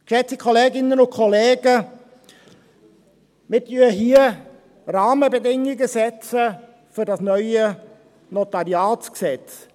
Geschätzte Kolleginnen und Kollegen, wir setzen hier Rahmenbedingungen für das neue NG.